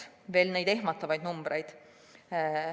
Veel neid ehmatavaid numbreid.